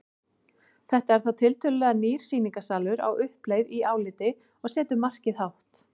Þetta er þá tiltölulega nýr sýningarsalur á uppleið í áliti og setur markið hátt.